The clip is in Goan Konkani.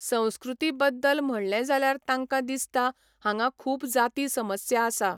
संस्कृती बद्दल म्हणलें जाल्यार तांकां दिसता हांगा खूब जाती समस्या आसा.